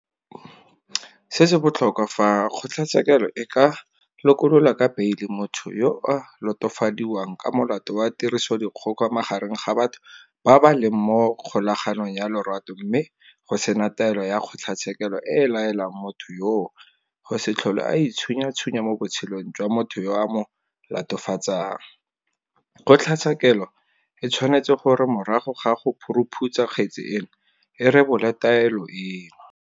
Se se botlhokwa, fa kgotlatshekelo e ka lokolola ka beile motho yo a latofadiwang ka molato wa tirisodikgoka magareng ga batho ba ba leng mo kgolaganong ya lorato mme go sena taelo ya kgotlatshekelo e e laelang motho yoo go se tlhole a itshunyatshunya mo botshelong jwa motho yo a mo latofatsang, kgotlatshekelo e tshwanetse gore morago ga go phuruphutsa kgetse eno e rebole taelo eno.